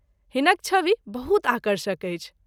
हिनक छवि बहुत आकर्षक अछि।